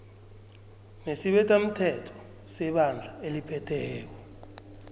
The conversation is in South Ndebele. nesibethamthetho nebandla eliphetheko